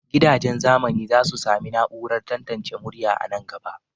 Gidajen zamani za su sami na'urar tantance murya a nan gaba.